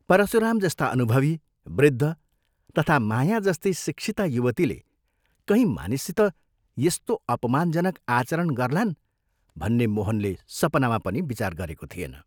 परशुराम जस्ता अनुभवी, वृद्ध तथा माया जस्ती शिक्षिता युवतीले कहीं मानिससित यस्तो अपमानजनक आचरण गर्लान् भन्ने मोहनले सपनामा पनि विचार गरेको थिएन।